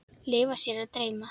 Leyfa sér að dreyma.